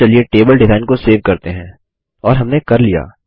अब table design को save करते हैं और हमने कर लिया